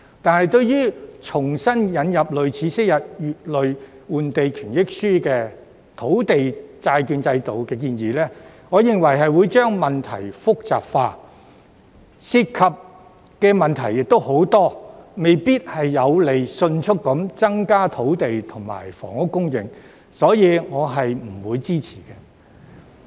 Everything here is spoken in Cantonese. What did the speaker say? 但是，我認為重新引入類似昔日"乙類換地權益書"的土地債券的建議，會將問題複雜化，而且涉及的問題亦很多，未必有利迅速增加土地及房屋供應，所以我不會支持。